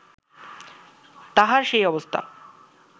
তাঁহার সেই অবস্থা